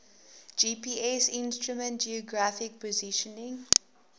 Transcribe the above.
gpsinstrument geographic positioning